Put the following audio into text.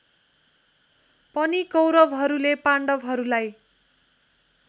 पनि कौरवहरूले पाण्डहरूलाई